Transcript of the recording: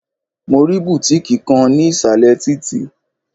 Mo rí bùtíkì kan ní ìsàlẹ̀ títì.